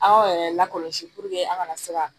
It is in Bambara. Aw yɛrɛ lakɔlɔsi an ka na se ka